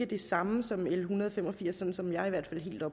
det samme som l en hundrede og fem og firs sådan som jeg i hvert